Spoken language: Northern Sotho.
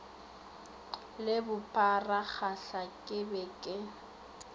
le bopharagahla ke be ke